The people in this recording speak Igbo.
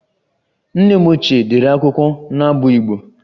Nne m ochie dere akwụkwọ n'abụ Igbo